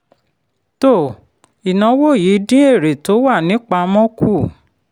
um ìnáwó yìí dín èrè tó wà nípamọ́ kù.